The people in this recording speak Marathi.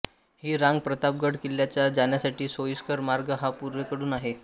ही रांग प्रतापगड किल्ल्याला जाण्यासाठी सोयीस्कर मार्ग हा पूर्वेकडून आहे